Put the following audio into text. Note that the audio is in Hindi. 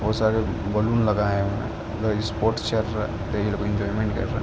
बहुत सारे बलून लगाए हुए हैं।